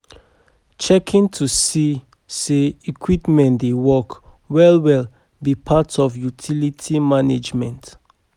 Checkin to see say equipments dey work well well be part of utility management